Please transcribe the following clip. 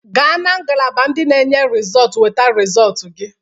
Gaa na ngalaba ndị na enye rịzọt weta resọt gị!